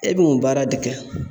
E be mun baara de kɛ